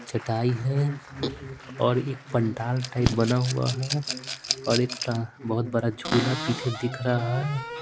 चटाई है और एक पंडाल टाइप बना हुआ है और एक बहुत बड़ा झूला पीछे दिख रहा है।